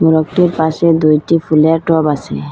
মোরগটির পাশে দুইটি ফুলের টব আসে।